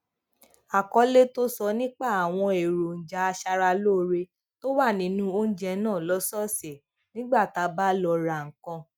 àkọlé tó sọ nípa àwọn èròjà aṣaralóore tó wà nínú oúnjẹ náà lósòòsè nígbà tá a bá lọ ra nǹkan